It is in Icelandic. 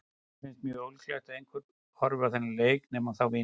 Mér finnst mjög ólíklegt að einhver horfi á þennan leik nema þá vinir Arons.